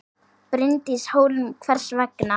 Bryndís Hólm: Hvers vegna?